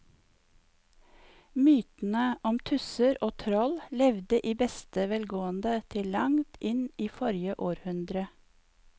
Mytene om tusser og troll levde i beste velgående til langt inn i forrige århundre.